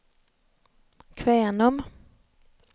Kvänum